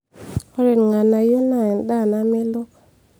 ore ilg'anayio naa endaa namelook